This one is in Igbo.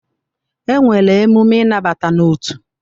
E nwere emume ịnabata n'otu.